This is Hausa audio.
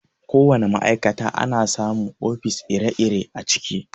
Ko wana ma'aikata ana samu ofis ire-ire a ciki.